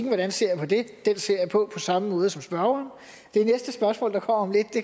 jeg ser på den den ser jeg på på samme måde som spørgeren det næste spørgsmål der kommer om lidt